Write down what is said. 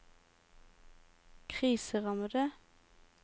kriserammede